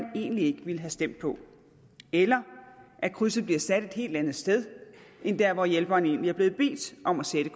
egentlig ikke ville have stemt på eller at krydset bliver sat et helt andet sted end der hvor hjælperen egentlig er blevet bedt om at sætte